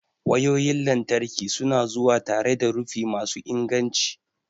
wayoyin lantarki su na zuwa tare da rufi masu inganci.